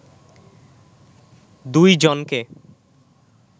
দুই জনকে